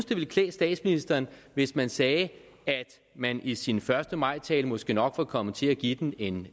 det ville klæde statsministeren hvis man sagde at man i sin første maj tale måske nok var kommet til at give den en